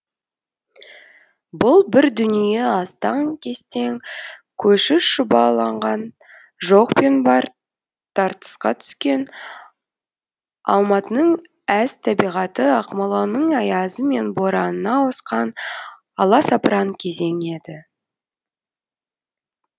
бұл бір дүние астаң кестең көші шұбаланған жоқ пен бар тартысқа түскен алматының әз табиғаты ақмоланың аязы мен боранына ауысқан аласапыран кезең еді